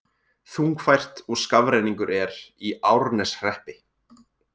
Þungfært og skafrenningur er í Árneshreppi